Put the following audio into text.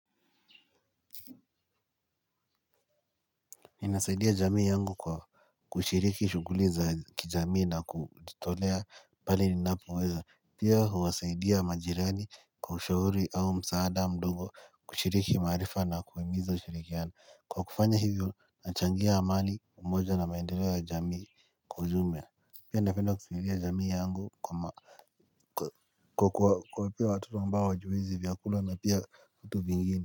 Inasaidia jamii yangu kwa kushiriki shuguli za kijamii na kutolea pale ninapoweza. Pia huwasaidia majirani kwa ushauri au msaada mdogo kushiriki marifa na kuhimiza ushirikiana. Kwa kufanya hivyo nachangia amani umoja na maendeleo ya jamii kwa ujumia. Pia napenda kushiria jamii yangu kwa ma kwa kwa pia watu ambao hawajiwezi vyakula na pia vitu vingini.